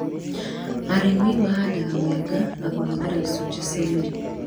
Arĩmi mahanda mĩanga na kũhũthĩra icũnji cia mĩri